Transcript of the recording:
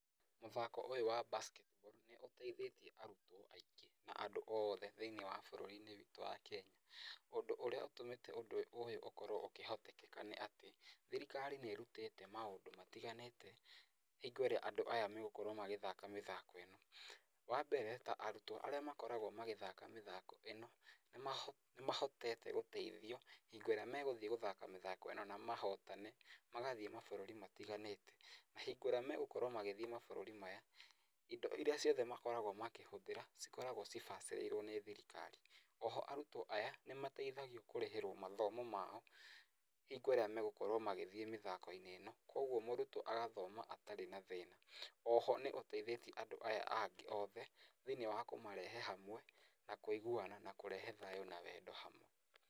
Mũthako ũyũ wa basket ball nĩ ũteithĩtie arutwo aingĩ na andũ othe thiĩniĩ wa bũrũri-inĩ witũ wa Kenya. Ũndũ ũrĩa ũtũmĩte ũndũ ũyũ ũkorwo ũkĩhotekeka nĩ atĩ, thirikari nĩ ĩrutĩte maũndũ matiganĩte hingo ĩrĩa andũ aya megũkorwo magĩthaka mĩthako ĩno. Wa mbere ta arutwo arĩa makoragwo magĩthaka mĩthako ĩno, nĩ mahotete gũteithio hingo ĩrĩa megũthiĩ gũthaka mĩthako ĩno na mahotane, magathiĩ mabũrũri matiganĩte, na hingo ĩrĩa megũkorwo magĩthiĩ mabũrũri maya, indo iria ciothe makoragwo makĩhũthĩra cikoragwo cibacĩrĩirwo nĩ thirikari. Oho arutwo aya nĩ mateithagio kũrĩhĩrwo mathomo mao hingo ĩrĩa megũkorwo magĩthiĩ mĩthako-inĩ ĩno, kuũguo mũrutwo agathoma atarĩ na thĩna. Oho nĩ ũteithĩtie andũ aya angĩ othe thiĩniĩ wa kũmarehe hamwe na kũiguana na kũrehe thayũ na wendo hamwe.